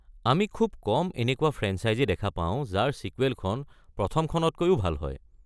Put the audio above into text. আমি খুব কম এনেকুৱা ফ্ৰেঞ্চাইজী দেখা পাওঁ যাৰ ছিকুৱেলখন প্ৰথমখনতকৈও ভাল হয়।